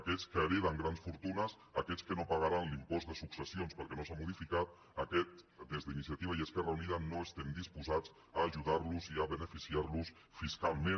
aquests que hereten grans fortunes aquests que no pagaran l’impost de successions perquè no s’ha modificat a aquests des d’iniciativa i esquerra unida no estem disposats a ajudar los i a beneficiar los fiscalment